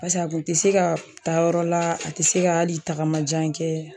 Basa a kun tɛ se ka taa yɔrɔ la, a te se ka hali tagama jan kɛ.